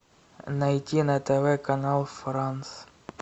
найти на тв канал франц